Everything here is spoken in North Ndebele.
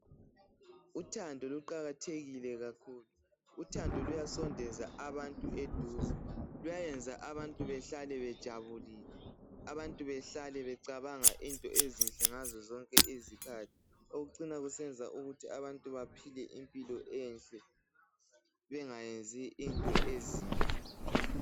Uthando luqakathekile kakhulu, uthando luyasondeza abantu eduze, luyayenza abantu bahlale bejabule, abantu bahlale becabanga izinto ezinhle ngazo zonke izikhathi, okucina kusenza abantu baphile impilo enhle bengayenzi into ezimbi.